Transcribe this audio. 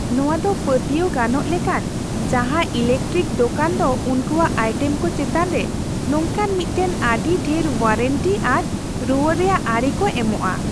ᱱᱚᱶᱟ ᱫᱚ ᱯᱟᱹᱛᱭᱟᱹᱣ ᱜᱟᱱᱚᱜ ᱞᱮᱠᱟᱱ ᱡᱟᱦᱟᱸ ᱤᱞᱮᱠᱴᱨᱮᱠ ᱫᱳᱠᱟᱱ ᱫᱚ ᱩᱱᱠᱩᱭᱟᱜ ᱟᱭᱴᱮᱢ ᱠᱚ ᱪᱮᱛᱟᱱ ᱨᱮ ᱱᱚᱝᱠᱟᱱ ᱢᱤᱫᱴᱟᱝ ᱟᱹᱰᱤ ᱰᱷᱮᱨ ᱳᱣᱟᱨᱮᱱᱴᱤ ᱟᱨ ᱨᱩᱣᱟᱹᱲ ᱨᱮᱭᱟᱜ ᱟᱹᱨᱤ ᱠᱚ ᱮᱢᱚᱜᱼᱟ ᱾